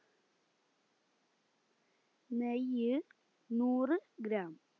നെയ്യ് നൂറ് gram